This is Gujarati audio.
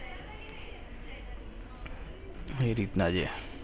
એ રીત ના છે.